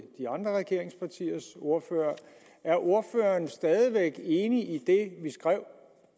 de andre regeringspartiers ordførere er ordføreren stadig væk enig i indholdet det vi skrev